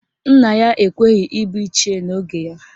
Nna ya ekweghi ịbụ Ichie n'oge ya.